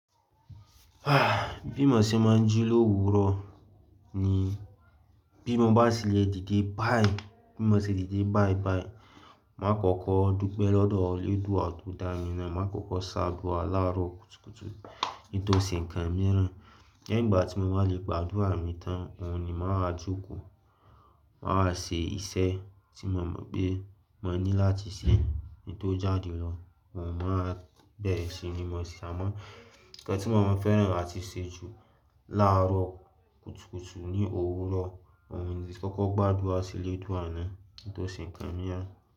Bí mo ṣe máa ń jí l’òwúrò ni bí mo bá ti lè dìde báì, bí mo ṣe dìde báì báì, màá kọ́kọ́ dúpẹ́ lọ́dọ̀ Eledùa to dá mi náà, màá kọ́kọ́ ṣá adúà láàrọ̀ kùtùkùtù kin tò se nǹkan mìíràn. Leyin ígbà tí mo bá lè gba àdúrà mi tán, òhun ni màá wa jókòó, màá wa ṣe iṣẹ́ tí mo mọ̀ pé mo ní láti ṣe kín tó jáde lọ. Òun máa bẹ̀rẹ̀ sí ní mú ẹsẹ̀, àmọ́ nǹkan tí mo máa fẹ́ràn láti ṣe jù láàárọ̀ kùtùkùtù ní òwúrò, òun ni kí n kọ́kọ́ gbàdúrà sí Olódù náà nítòsí nǹkan mìíràn.